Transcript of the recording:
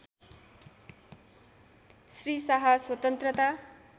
श्री शाह स्वतन्त्रता